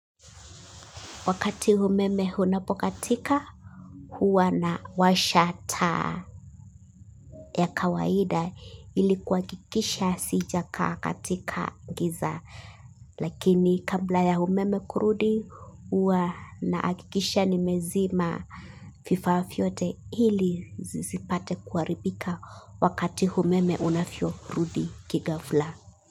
Wakati humeme unapokatika, huwa na washa taa ya kawaida ilikuakikisha sijakaa katika giza. Lakini kabla ya humeme kurudi, huwa naakikisha ni mezima vifaa vyote ili zisipate kuharibika wakati humeme unavyo rudi kigafla.